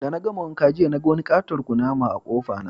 De na gama wanka jiya ,na gan wani ƙaton ƙunama a'kofa na.